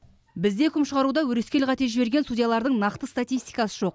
бізде үкім шығаруда өрескел қате жіберген судьялардың нақты статистикасы жоқ